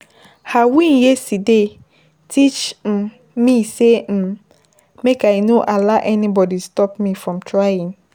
Her win yesterday, teach um me sey um make I no allow anybody stop me from trying.